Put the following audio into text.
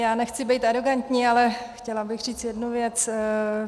Já nechci být arogantní, ale chtěla bych říct jednu věc.